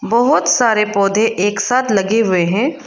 बहोत सारे पौधे एक साथ लगे हुए हैं।